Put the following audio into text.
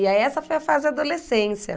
E aí essa foi a fase da adolescência.